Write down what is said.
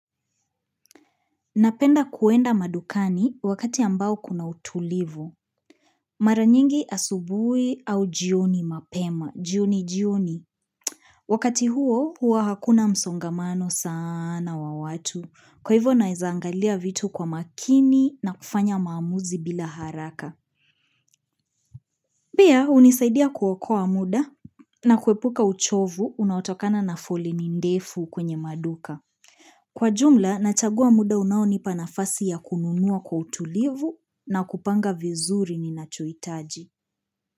Napenda kuenda madukani wakati ambao kuna utulivu. Mara nyingi asubuhi au jioni mapema, jioni jioni. Wakati huo, hua hakuna msongamano sana wa watu. Kwa hivyo naeza angalia vitu kwa makini na kufanya maamuzi bila haraka. Pia, hunisaidia kuokoa muda na kuepuka uchovu unaotokana na foleni ndefu kwenye maduka. Kwa jumla, nachagua muda unaonipa nafasi ya kununua kwa utulivu, na kupanga vizuri ninachohitaji.